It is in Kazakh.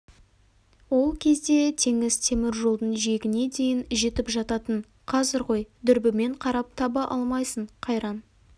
ол кезде теңіз темір жолдың жиегіне дейін жетіп жататын қазір ғой дүрбімен қарап таба алмайсың қайран